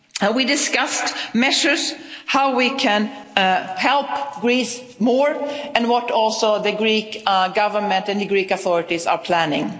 We discussed measures as to how we can help Greece more and what also the Greek Government and the Greek authorities are planning.